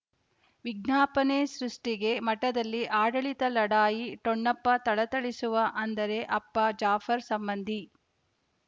ವಿಜ್ಞಾಪನೆ ಸೃಷ್ಟಿಗೆ ಮಠದಲ್ಲಿ ಆಡಳಿತ ಲಢಾಯಿ ಠೊಣಪ ಥಳಥಳಿಸುವ ಅಂದರೆ ಅಪ್ಪ ಜಾಫರ್ ಸಂಬಂಧಿ